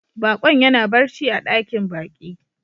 Bakon ya na barci a dakin baki.